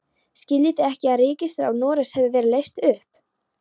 Skiljið þið ekki að ríkisráð Noregs hefur verið leyst upp!